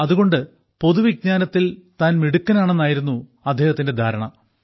അതുകൊണ്ട് പൊതുവിജ്ഞാനത്തിൽ താൻ മിടുക്കനാണെന്നായിരുന്നു അദ്ദേഹത്തിന്റെ ധാരണ